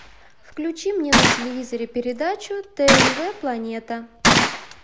включи мне на телевизоре передачу тнв планета